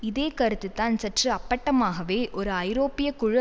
இதே கருத்துதான் சற்று அப்பட்டமாகவே ஒரு ஐரோப்பிய குழு